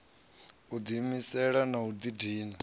u diimisela na u didina